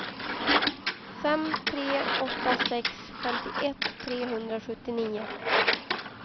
fem tre åtta sex femtioett trehundrasjuttionio